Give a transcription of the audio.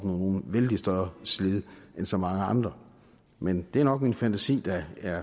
noget vældig større slid end så mange andre men det er nok min fantasi der er